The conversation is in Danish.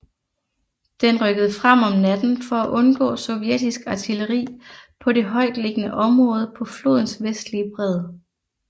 Den rykkede frem om natten for at undgå sovjetisk artilleri på det højtliggende område på flodens vestlige bred